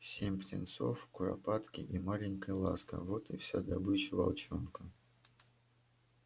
семь птенцов куропатки и маленькая ласка вот и вся добыча волчонка